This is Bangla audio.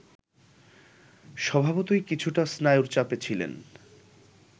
স্বভাবতই কিছুটা স্নায়ুর চাপে ছিলেন